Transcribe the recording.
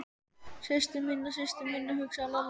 Systur mína, systur mína, hugsaði Lalli.